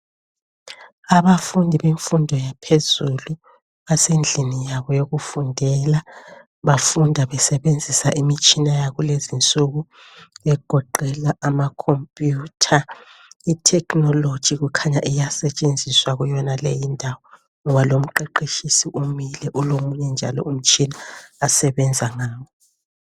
Abafundi bemfundo yaphezulu basendlini yabo yokufundela bafunda besebenzisa imitshina yakulezinsuku egoqela amacomputer. Itechnology kukhanya iyasetshenziswa kuyonale indawo ngoba lomqeqetshisi umile ulomunye njalo umtshina asebenza ngawo.